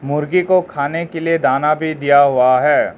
मुर्गी को खाने के लिए दाना भी दिया हुआ है।